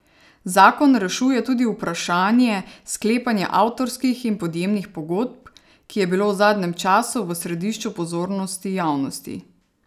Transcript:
Zakon rešuje tudi vprašanje sklepanja avtorskih in podjemnih pogodb, ki je bilo v zadnjem času v središču pozornosti javnosti.